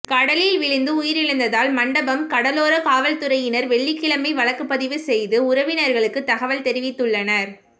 கடலில் விழுந்து உயிரிழந்ததால் மண்டபம் கடலோர காவல்துறையினர் வெள்ளிக்கிழமை வழக்கு பதிவு செய்து உறவினர்களுக்கு தகவல் தெரிவித்துள்ளனர்